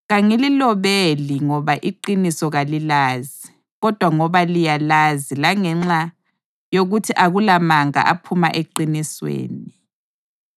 Kangililobeli ngoba iqiniso kalilazi, kodwa ngoba liyalazi langenxa yokuthi akulamanga aphuma eqinisweni.